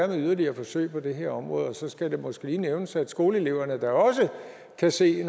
yderligere forsøg på det her område og så skal det måske lige nævnes at skoleeleverne da også kan se